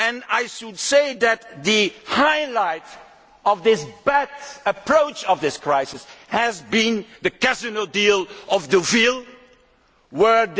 I should say that the highlight of this bad approach to the crisis has been the casino deal of the real world.